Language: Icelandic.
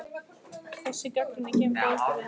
Þessi gagnrýni kemur dálítið við hann.